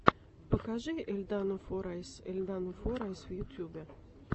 покажи эльдану форайз эльдану форайс в ютубе